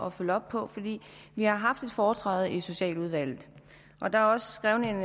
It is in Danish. at følge op på vi har haft et foretræde i socialudvalget og der er også skrevet en